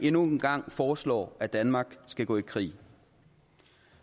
endnu en gang foreslår at danmark skal gå i krig